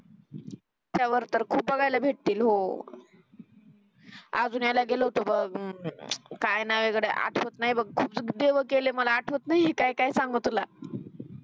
अजून याला गेलो होतो मग हम्म काही नाही गडया आठवत नाही बग खूप देव केले मला आठवत नाही. काय काय सांगू तुला